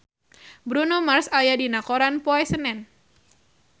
Bruno Mars aya dina koran poe Senen